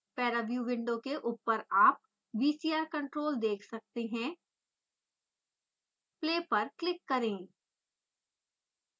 ParaView window के ऊपर आप vcr control देख सकते हैं play पर क्लिक करें